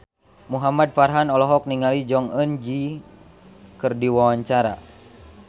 Muhamad Farhan olohok ningali Jong Eun Ji keur diwawancara